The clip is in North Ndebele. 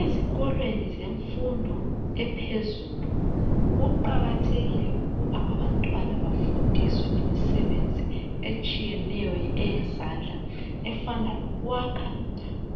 Ezikolweni zemfundo ephezulu kuqakathekile ukuba abantwana bafundiswe imisebenzi etshiyeneyo eyezandla efana lokwakha,